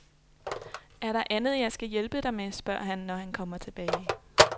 Er der andet, jeg skal hjælpe dig med spørger han, når han kommer tilbage.